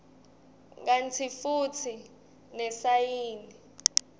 kantsi futsi nesayini